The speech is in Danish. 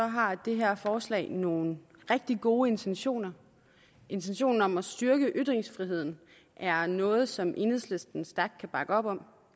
har det her forslag nogle rigtig gode intentioner intentionen om at styrke ytringsfriheden er noget som enhedslisten stærkt kan bakke op om